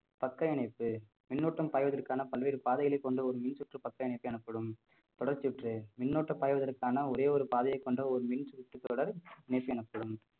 பக்க இணைப்பு மின்னோட்டம் பாய்வதற்கான பல்வேறு பாதைகளை கொண்ட ஒரு மின் சுற்று பக்க இணைப்பு எனப்படும் தொடர்ச்சுற்று மின்னூட்ட பாய்வதற்கான ஒரே ஒரு பாதையை கொண்ட ஒரு மின் சுற்று தொடர் எனப்படும்